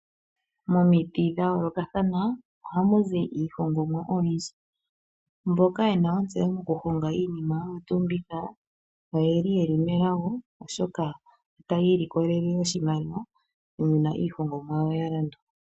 Momiti dha yoolokathana ohamu zi iihongomwa oyindji. Mboka yena ontseyo mokuhonga iinima oyo tuu mbika oyeli yeli melago oshoka otaya ilikolele oshimaliwa uuna iihongomwa yawo ya landwa.